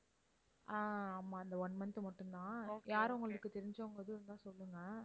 ஆஹ் ஆமா இந்த one month மட்டும் தான். யாரும் உங்களுக்குத் தெரிஞ்சவங்க எதுவும் இருந்தா சொல்லுங்க.